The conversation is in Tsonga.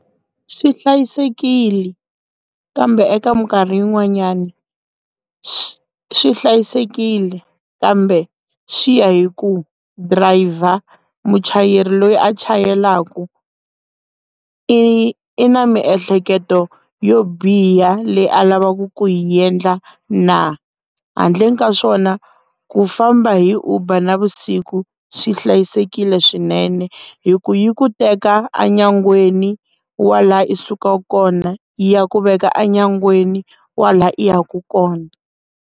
Swi hlayisekile kambe eka mikarhi yin'wanyani swi hlayisekile kambe swi ya hi ku driver muchayeri loyi a chayelaka i na miehleketo yo biha leyi a lavaku ku hi endla na handleni ka swona ku famba hi uber na vusiku swi hlayisekile swinene hi ku yi ku teka enyangweni wa laha i sukaka kona ya ku veka enyangweni wa la i ya ku kona.